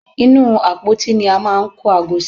Inú u àpótí ni a máa ń kó aago sí.